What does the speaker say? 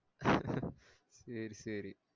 சேரி சேரி